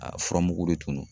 A fura mugu de tun no